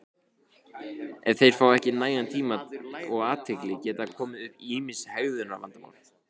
Ef þeir fá ekki nægan tíma og athygli geta komið upp ýmis hegðunarvandamál.